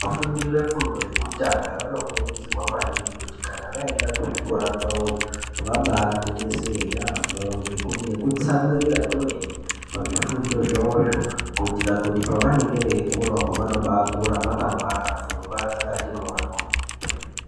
Vafundi vefundo yekutanga vanokurudzirwa maningi kuti kana vaenda kuzvikora kwawoyo vabagwinyisire yambo ngekutsamwirira kwemene pazvifundo zvawozvo kuitira kuti pavanenge veikura vanokurawo vakwangwara muzvikora pfungwa dzakati mboryo.